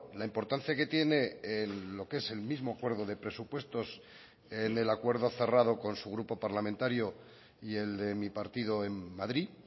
la importancia que tiene lo que es el mismo acuerdo de presupuestos en el acuerdo cerrado con su grupo parlamentario y el de mi partido en madrid